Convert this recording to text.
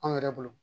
Anw yɛrɛ bolo